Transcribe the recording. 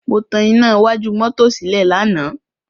Mo tan iná iwájú mọ́tò sílẹ̀ lánàá.